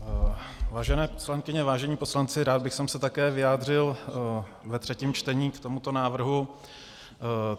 Vážené poslankyně, vážení poslanci, rád bych se také vyjádřil ve třetím čtení k tomuto návrhu.